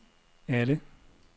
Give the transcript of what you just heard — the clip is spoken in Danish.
alle